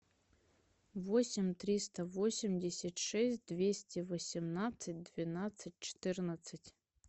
восемь триста восемьдесят шесть двести восемнадцать двенадцать четырнадцать